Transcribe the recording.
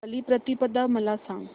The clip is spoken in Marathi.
बलिप्रतिपदा मला सांग